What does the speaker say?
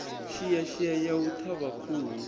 shiashia ya u ṱhavha khuhu